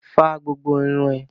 Fá gbogbo irun ẹ!